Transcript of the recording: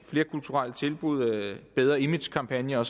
flerkulturelle tilbud bedre image kampagner